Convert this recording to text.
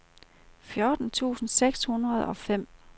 fjorten tusind seks hundrede og fem